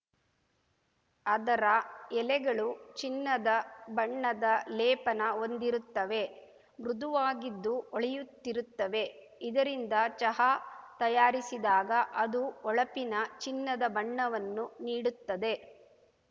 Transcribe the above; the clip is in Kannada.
ಅದರ ಎಲೆಗಳು ಚಿನ್ನದ ಬಣ್ಣದ ಲೇಪನ ಹೊಂದಿರುತ್ತವೆ ಮೃದುವಾಗಿದ್ದು ಹೊಳೆಯುತ್ತಿರುತ್ತವೆ ಇದರಿಂದ ಚಹಾ ತಯಾರಿಸಿದಾಗ ಅದು ಹೊಳಪಿನ ಚಿನ್ನದ ಬಣ್ಣವನ್ನು ನೀಡುತ್ತದೆ